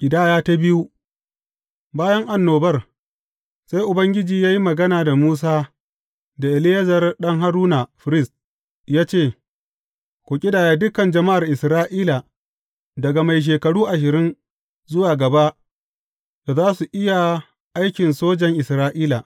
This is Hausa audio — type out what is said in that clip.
Ƙidaya ta biyu Bayan annobar, sai Ubangiji ya yi magana da Musa da Eleyazar ɗan Haruna, firist ya ce, Ku ƙidaya dukan jama’ar Isra’ila daga mai shekaru ashirin zuwa gaba da za su iya aikin sojan Isra’ila.